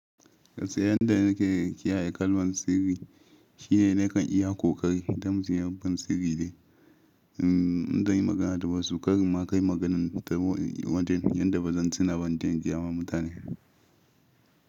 Gaskiya yan da nake kiyaye kalman sirri shine nakan iya ƙoƙari idan mutum ya ban sirri ɗin in zan yi magana da wasu karin ma kai maganar ta wajen yadda ba zan tuna ba in je in gaya ma mutane.